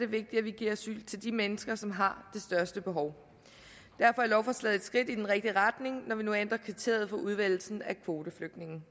vigtigt at vi giver asyl til de mennesker som har det største behov derfor er lovforslaget et skridt i den rigtige retning når vi nu ændrer kriteriet for udvælgelsen af kvoteflygtninge